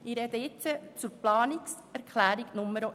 Ich spreche zur Planungserklärung 1: